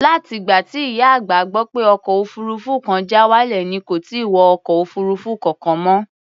Láti ìgbà tí ìyá àgbà gbọ́ pé ọkọ̀ òfuurufú kan já wálẹ̀ ni kò ti wọ ọkọ̀ òfuurufú kankan mọ́.